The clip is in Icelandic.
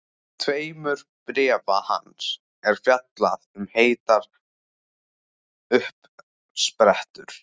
tveimur bréfa hans er fjallað um heitar uppsprettur.